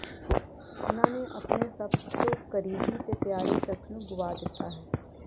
ਉਨ੍ਹਾਂ ਨੇ ਆਪਣੇ ਸਭ ਤੋਂ ਕਰੀਬੀ ਤੇ ਪਿਆਰੇ ਸ਼ਖਸ ਨੂੰ ਗੁਆ ਦਿੱਤਾ ਹੈ